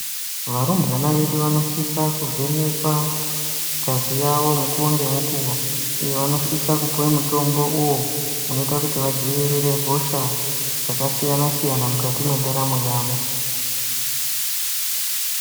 Varumbwana vedu vanositsa kuvhenekwa ngazi yavo mukuwo ngemukuwo , vanositsa kupuwa mitombo uyu inoita kuti vadzivirire hosha dzakasiyana siyana mwukati mwendaramo yavo.